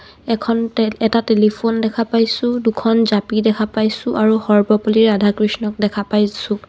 এখন টে- এটা টেলিফোন দেখা পাইছোঁ দুখন জাপি দেখা পাইছোঁ আৰু সৰ্বপল্লী ৰাধাকৃষ্ণণক দেখা পাইছোঁ.